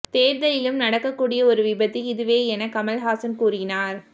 தேர்தலிலும் நடக்கூடிய ஒரு விபத்து இதுவே என கமல்ஹாசன் கூறினார்